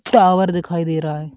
Tower दिखाई दे रहा है।